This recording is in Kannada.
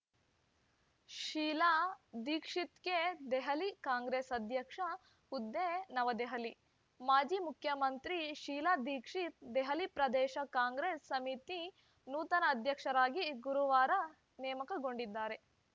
ಶೀಲಾ ದೀಕ್ಷಿತ್‌ಗೆ ದೆಹಲಿ ಕಾಂಗ್ರೆಸ್‌ ಅಧ್ಯಕ್ಷ ಹುದ್ದೆ ನವದೆಹಲಿ ಮಾಜಿ ಮುಖ್ಯಮಂತ್ರಿ ಶೀಲಾ ದೀಕ್ಷಿತ್‌ ದೆಹಲಿ ಪ್ರದೇಶ ಕಾಂಗ್ರೆಸ್‌ ಸಮಿತಿ ನೂತನ ಅಧ್ಯಕ್ಷರಾಗಿ ಗುರುವಾರ ನೇಮಕಗೊಂಡಿದ್ದಾರೆ